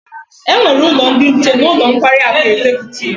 E nwere ulo ndi nche n'ulo nkwari aku Executive